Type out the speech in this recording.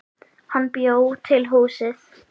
Hann bjó til húsið.